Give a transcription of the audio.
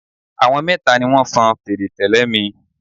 Àwọn mẹ́ta ni wọn fọn fèrè tẹ́lẹ̀ mi.